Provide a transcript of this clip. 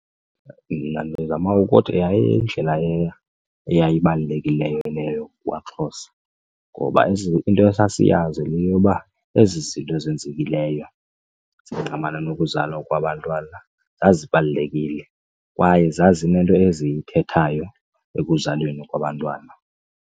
Mna ndizama ukuthi yayindlela eyayibaluleki leyo kubaXhosa ngoba into esasiyazi yile yoba ezi zinto zenzekileyo zingqamana nokuzalwa kwabantwana zazibalulekile kwaye zazinento eziyithethayo ekuzalweni kwabantwana.